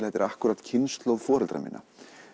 þetta er akkúrat kynslóð foreldra minna